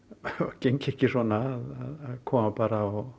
gengi ekki svona að koma bara og